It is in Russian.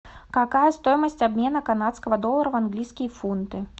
какая стоимость обмена канадского доллара в английские фунты